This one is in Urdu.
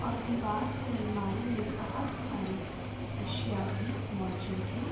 اور دیوار پر الماری مے بہت ساری اشیا بھی موزود ہے۔